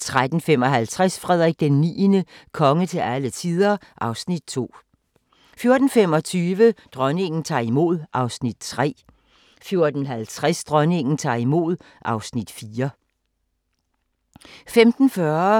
13:55: Frederik IX – konge til alle tider (Afs. 2) 14:25: Dronningen tager imod (Afs. 3) 14:50: Dronningen tager imod (Afs. 4)